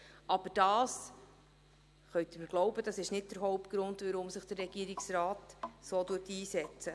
Aber Sie können mir glauben, dass dies nicht der Hauptgrund dafür ist, dass sich der Regierungsrat so einsetzt.